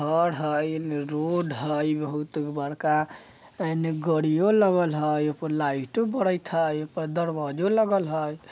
घर हय इ में रोड हय इ बहुत बड़का एने गड़ियों लगल हय ए पर लाइटों बड़त हय ए पर दरवाजों लगल हय।